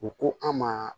U ko an ma